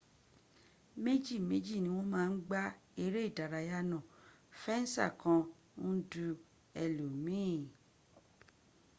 meji meji ni won ma n gba ere idaraya na fensa kan n du elomiin